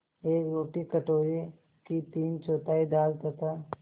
एक रोटी कटोरे की तीनचौथाई दाल तथा